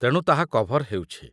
ତେଣୁ ତାହା କଭର୍ ହେଉଛି ।